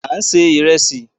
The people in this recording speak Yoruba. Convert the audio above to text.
À ń se ìrẹsì.